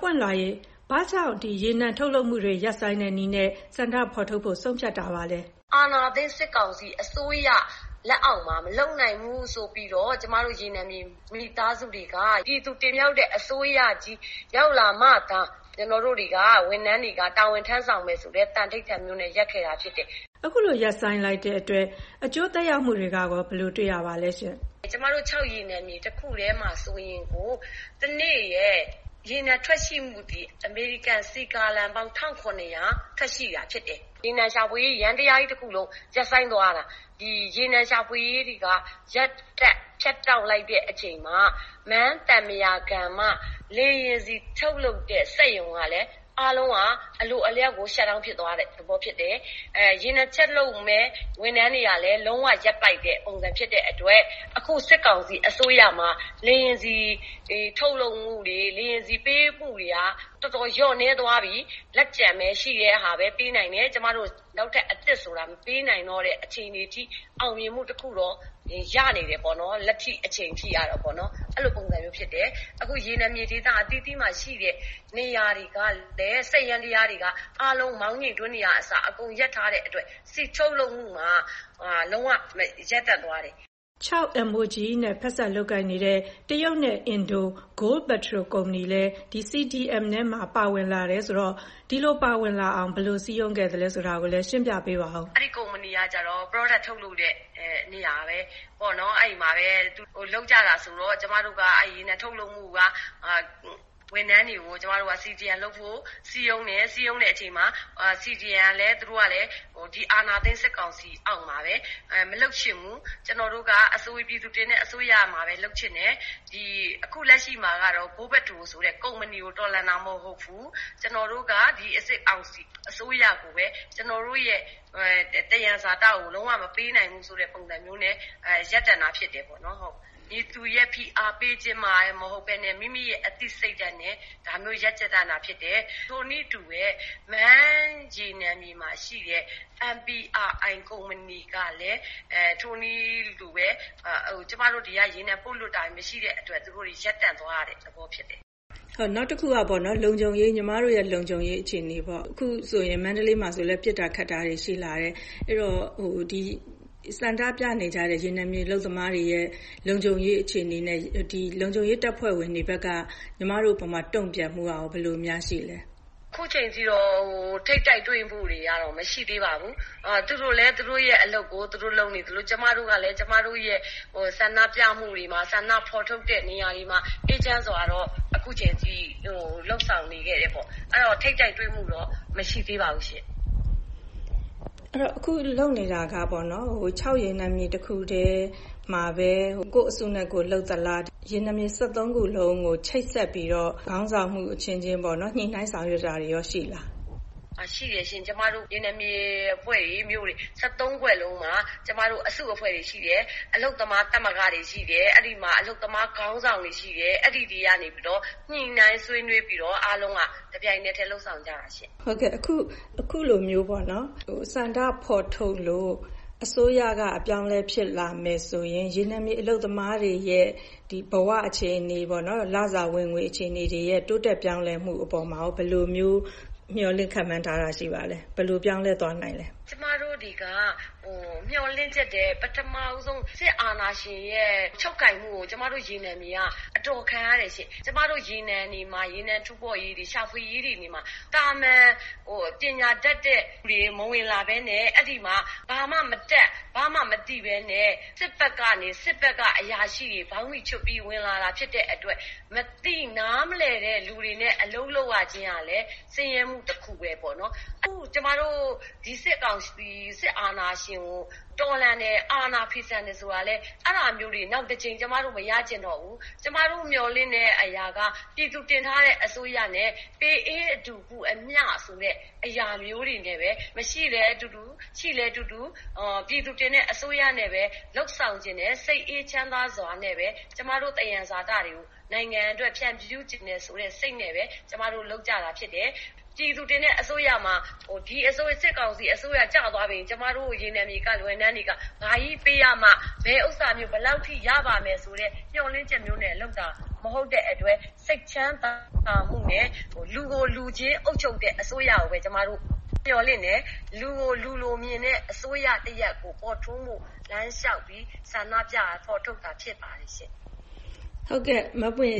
ပွင့်လွှာရေ-ဘာကြောင့် ရေနံထုတ်လုပ်မှုတွေ ရပ်ဆိုင်းတဲ့နည်းနဲ့ ဆန္ဒဖော်ထုတ်ဖို့ ဆုံးဖြတ်တာပါလဲ။ အာဏာသိမ်း စစ်ကောင်စီအစိုးရလက်အောက်မှာ မလုပ်နိုင်ဘူးဆိုပြီးတော့ ကျမတို့ ရေနံမြေမိသားစုတွေက ပြည်သူတင်မြှောက်တဲ့အစိုးရကြီးရောက်လာမှသာ ဝန်ထမ်းတွေက တာဝန်ထမ်းဆောင်တော့မယ်ဆိုတဲ့ သန္နိဌာန်မျိုးနဲ့ ရပ်ခဲ့တာဖြစ်တယ်။ ဒီလိုရပ်ဆိုင်းလိုက်တဲ့အတွက် အကျိုးသက်ရောက်မှုကရော ဘယ်လိုတွေ့ရပါသလဲရှင့်။ ကျမတို့ချောက်ရေနံမြေတခုတည်းမှာကို တနေ့ရဲ့ရေနံထွက်ရှိမှုသည် အမေရိကန်စည်ဂါလံပေါင်း ၁,၇၀၀ ထွက်ရှိတာဖြစ်တယ်။ ရေနံရှာဖွေရေး ယန္တရားကြီးတခုလုံး ရပ်ဆိုင်းသွားရတာ။ ဒီရေနံရှာဖွေရေးတွေက ရပ်တန့်ဖြတ်တောက်လိုက်တဲ့အချိန်မှာ မန်းသံပုရာကန်က လေယာဉ်ဆီထုတ်လုပ်တဲ့ စက်ရုံကလည်း အားလုံးက အလိုအလျောက်ကို Shut-down ဖြစ်သွားတယ်။ ရေနံချက်လုပ်မယ့် ဝန်ထမ်းတွေကလည်း လုံးဝရပ်တန့်ပစ်လိုက်တဲ့ပုံစံဖြစ်တဲ့အတွက် အခု စစ်ကောင်စီအစိုးရမှာ လေယာဉ်ဆီထုတ်လုပ်မှု၊ လေယာဉ်ဆီပေးပို့မှုတွေက တော်တော်လျော့နည်းသွားပြီ။ လက်ကျန်ရှိတာပဲ ပေးနိုင်တယ်။ နောက်ထပ်အသစ်ဆိုတာ မပေးနိုင်တော့တဲ့အခြေအနေအထိ အောင်မြင်မှုတခုတော့ လက်ရှိအချိန်အထိ ရနေတယ်ပေါ့နော်။ အဲလိုပုံစံမျိုးဖြစ်တယ်။ အခု ရေနံမြေအသီးသီးမှာရှိတဲ့နေရာတွေက စက်ယန္တရားတွေက အားလုံးမောင်းနှင်တွင်းတွေကအစ အကုန်ရပ်ထားတဲ့အတွက် ထုတ်လုပ်မှုမှာ လုံးဝရပ်တန့်သွားတယ်။ ချောက် MOGE နဲ့ ဖက်စပ်လုပ်ကိုင်နေတဲ့ တရုတ်နဲ့ အင်ဒို GoldPetrol ကုမ္ပဏီလည်း CDM ထဲမှာ ပါဝင်လာတယ်ဆိုတော့ ဒီလို ပါဝင်လာအောင် ဘယ်လိုစည်းရုံးခဲ့လဲဆိုတာ ရှင်းပြပေးပါအုံး။ အဲဒီကုမ္ပဏီကကျတော့ Product ထုတ်လုပ်တဲ့နေရာပဲ။ ကျမတို့က အဲဒီရေနံထုတ်လုပ်မှုက ဝန်ထမ်းတွေကို CDM လုပ်ဖို့ စည်းရုံးတယ်။ စည်းရုံးတဲ့အချိန်မှာ သူတို့ကလည်း ဒီအာဏာသိမ်းစစ်ကောင်စီအောက်မှာပဲ မလုပ်ချင်ဘူး။ “ကျနော်တို့က ပြည်သူတင်တဲ့အစိုးရမှာပဲ လုပ်ချင်တယ်။ အခုလက်ရှိမှာ GoldPetrol ဆိုတဲ့ကုမ္ပဏီကို တော်လှန်တာမဟုတ်ဘူး။ ကျနော်တို့က စစ်ကောင်စီအစိုးရကိုပဲ ကျနော်တို့ရဲ့သယံဇာတလုံးဝမပေးနိုင်ဘူး။” ဆိုတဲ့ပုံစံမျိုးနဲ့ ရပ်တန့်တာဖြစ်တယ်ပေါ့နော်။ ဟုတ်ကဲ့။ မည်သူရဲ့ဖိအားပေးခြင်းနဲ့မှလည်းမဟုတ်ဘဲနဲ့မိမိရဲ့အသိစိတ်ဓာတ်နဲ့ ဒါမျိုးရပ်တည်တာဖြစ်တယ်။ ထိုနည်းအတူပဲ - မန်းရေနံမြေမှာရှိတဲ့ MPRI ကုမ္ပဏီကလည်း ဒီကနေ ကျမတို့ ရေနံပို့လွှတ်တာတွေ မရှိတဲ့အတွက် သူတို့တွေ ရပ်တန့်သွားရတဲ့သဘောဖြစ်တယ်။ နောက်တခုက လုံခြုံရေးအခြေအနေပေါ့- အခုဆိုရင် မန္တလေးမှာလည်း ပစ်တာ ခတ်တာတွေရှိလာတယ်။ အဲဒီတော့ ဆန္ဒပြနေကြတဲ့ ရေနံမြေအလုပ်သမားတွေရဲ့ လုံခြုံရေးအခြေအနေနဲ့ လုံခြုံရေးတပ်ဖွဲ့ဝင်တွေဘက်က တုံ့ပြန်မှုကရော ဘယ်လိုများရှိလဲ။ အခုချိန်ထိတော့ ထိပ်တိုက်တွေ့မှုတွေမရှိသေးပါဘူး။ သူတို့လည်း သူတို့အလုပ်သူတို့လုပ်နေသလို ကျမတို့ကလည်း ကျမတို့ဆန္ဒပြမှုတွေမှာ၊ ဆန္ဒဖော်ထုတ်တဲ့နေရာတွေမှာ အခုအချိန်အထိ အေးချမ်းစွာနဲ့လုပ်ဆောင်ခဲ့တယ်ပေါ့။ အဲဒီတော့ ထိပ်တိုက်တွေ့မှုတော့ မရှိသေးပါဘူးရှင့်။ အဲဒီတော့ အခုလုပ်နေတာက ချောက်ရေနံမြေတခုတည်းမှာပဲ ကိုယ့်အစုနဲ့ကိုယ်လုပ်သလား၊ ရေနံမြေ ၁၃ ခုလုံးကို ချိတ်ဆက်ပြီးတော့ ခေါင်းဆောင်မှုအချင်းချင်း ညှိနှိုင်းဆောင်ရွက်တာတွေရော ရှိလား။ ရှိတယ်ရှင့်။ ကျမတို့ ရေနံမြေအဖွဲ့တွေ၊ မြို့တွေ ၁၃ ဖွဲ့လုံးမှာ အစုအဖွဲ့တွေရှိတယ်၊ အလုပ်သမားသမဂ္ဂတွေရှိတယ်။ အဲဒီမှာ အလုပ်သမားခေါင်းဆောင်တွေရှိတယ်။ အဲဒီတွေကနေပြီးတော့ ညှိနှိုင်းဆွေးနွေးပြီး တပြိုင်တည်းလုပ်ဆောင်ကြတာရှင့်။ ဟုတ်ကဲ့။ အခုလိုမျိုး ဆန္ဒဖော်ထုတ်လို့ အစိုးရအပြောင်းအလဲဖြစ်လာမယ်ဆိုရင် ရေနံမြေအလုပ်သမားတွေရဲ့ ဘဝအခြေအနေတွေ၊ လစာဝင်ငွေအခြေအနေတွေ တိုးတက်ပြောင်းလဲမှုအပေါ်မှာရော ဘယ်လိုမျိုး ခန့်မှန်းထားတာ ရှိပါလဲ။ ဘယ်လိုပြောင်းလဲသွားနိုင်လဲ။ ကျမတို့တွေက မျှော်လင့်ချက်ထက် - ပထမဆုံး စစ်အာဏာရှင်ရဲ့ ချုပ်ကိုင်မှုကို ကျမတို့ရေနံမြေက အတော်ခံရတယ်ရှင့်။ ကျမတို့ရေနံမြေမှာ ရေနံတူးဖော်ရေး၊ ရေနံရှာဖွေရေးတွေမှာ သာမန် ပညာတတ်တဲ့သူတွေမဝင်လာဘဲနဲ့ ဘာမှမတတ်၊ ဘာမှမသိဘဲနဲ့ စစ်ဘက်ကအရာရှိတွေ ဘောင်းဘီချွတ်ပြီး ဝင်လာတာဖြစ်တဲ့အတွက် မသိနားမလည်တဲ့လူတွေနဲ့ အလုပ်လုပ်ရခြင်းဟာလည်း ဆင်းရဲမှုတခုပဲပေါ့နော်။ ကျမတို့ ဒီစစ်ကောင်စီ၊ စစ်အာဏာရှင်ကို တော်လှန်တယ်၊ အာဏာဖီဆန်တယ်ဆိုတာလည်း အဲဒါမျိုးတွေ နောက်တကြိမ် ကျမတို့မရချင်တော့ဘူး။ ကျမတို့မျှော်လင့်တဲ့အရာက ပြည်သူတင်ထားတဲ့အစိုးရနဲ့ အေးအတူ ပူအမျှ-ဆိုတဲ့အရာမျိုးတွေနဲ့ပဲ မရှိလည်းအတူတူ၊ ရှိလည်းအတူတူ ပြည်သူတင်တဲ့အစိုးရနဲ့ပဲ လုပ်ဆောင်ချင်တယ်။ စိတ်အေးချမ်းသာစွာနဲ့ပဲ ကျမတို့သယံဇာတတွေကို နိုင်ငံအတွက် ဖြန့်ဖြူးချင်တယ်ဆိုတဲ့စိတ်နဲ့ပဲ ကျမတို့ လုပ်ကြတာဖြစ်တယ်။ ဒီစစ်ကောင်စီအစိုးရကျသွားပြီဆိုရင် ကျမတို့ ရေနံမြေဝန်ထမ်းတွေက ဘာကြီးပေးရမှ၊ ဘယ်ဥစ္စာမျိုး၊ ဘယ်လောက်ထိရပါမယ်ဆိုတဲ့ မျှော်လင့်ချက်မျိုးနဲ့ လုပ်တာမဟုတ်တဲ့အတွက် - စိတ်ချမ်းသာမှုနဲ့ လူကိုလူချင်းအုပ်ချုပ်တဲ့အစိုးရကိုပဲ ကျမတို့မျှော်လင့်တယ်။ လူကိုလူလိုမြင်တဲ့အစိုးရတရပ်ပေါ်ထွန်းဖို့ ဆန္ဒပြဖော်ထုတ်တာဖြစ်ပါတယ်။ ဟုတ်ကဲ့။ မပွင့်